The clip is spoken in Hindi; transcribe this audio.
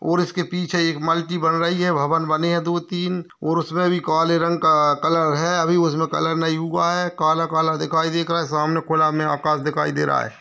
और इसके पीछे एक मल्टी बन रही है भवन बनी है दो-तीन और उसमें भी काले रंग का कलर है अभी इसमे कलर नहीं हुआ है काला-काला दिखाई दे रहा है सामने खुला में आकाश दिखाई दे रहा है।